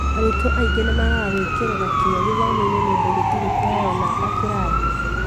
Arutwo aingĩ nĩ magaga gwĩkĩra kĩyo gĩthomo-inĩ nĩũndũ gũtirĩ kũheo namba kĩrathi-inĩ